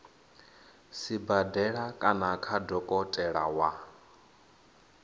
sibadela kana kha dokotela wa